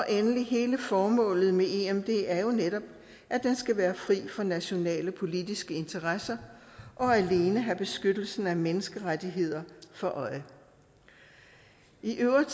endelig er hele formålet med emd jo netop at den skal være fri for nationale politiske interesser og alene have beskyttelsen af menneskerettigheder for øje i øvrigt